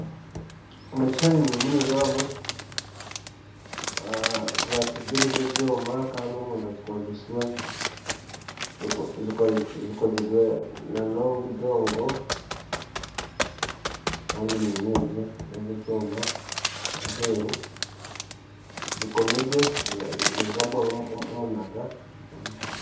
Omu kishushani ndimu nindeebamu zaasigiri z'ebyoma kandi omunda zikozirwe n'obudongo kandi ni nyingi n'ez'ekyoma aheru zikomire nizirabwamu omunaga